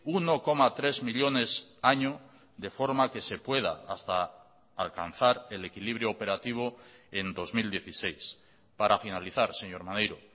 uno coma tres millónes año de forma que se pueda hasta alcanzar el equilibrio operativo en dos mil dieciséis para finalizar señor maneiro